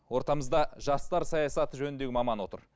ортамызда жастар саясаты жөніндегі маман отыр